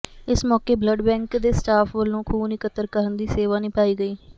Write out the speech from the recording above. ਇਸ ਮੌਕੇ blood bank ਦੇ ਸਟਾਫ਼ ਵਲੋਂ ਖ਼ੂਨ ਇਕੱਤਰ ਕਰਨ ਦੀ ਸੇਵਾ ਨਿਭਾਈ ਗਈ